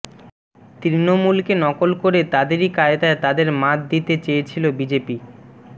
তৃণমূলকে নকল করে তাদেরই কায়দায় তাদের মাৎ দিতে চেয়েছিল বিজেপি